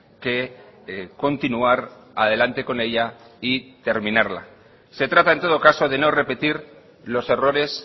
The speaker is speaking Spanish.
que continuar adelante con ella y terminarla se trata en todo caso de no repetir los errores